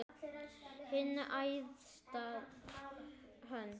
Hin æðsta hönd.